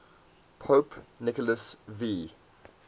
pope nicholas v